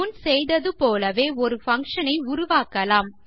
முன் செய்தது போலவே ஒரு பங்ஷன் ஐ உருவாக்கலாம்